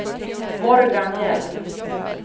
Morgan Hjelm